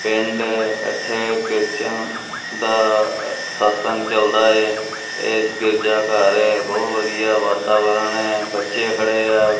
ਪਿੰਡ ਇੱਥੇ ਕ੍ਰਿਸਚਨ ਦਾ ਸਤਿਸੰਗ ਚਲਦਾ ਏ ਇਦੇ 'ਚ ਗਿਰਜਾ ਘਰ ਐ ਬਹੁਤ ਵਧੀਆ ਵਾਤਾਵਰਣ ਐ ਬੱਚੇ ਖੜੇ ਐ।